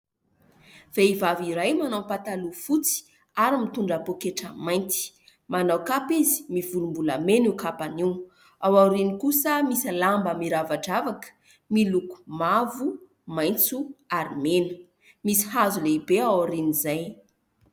Vehivavy iray manao pataloha fotsy ary mitondra poketra mainty. Manao kapa izy. Mivolom-bolamena io kapany io. Ao aoriany kosa misy lamba miravadravaka miloko mavo, maitso ary mena. Misy hazo lehibe aorian'izay.